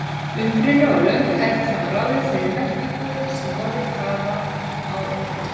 Uppruni og löng hefð hafa ráðið þeirri merkingu sem orðin hafa í íslensku.